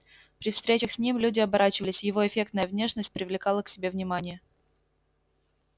при встречах с ним люди оборачивались его эффектная внешность привлекала к себе внимание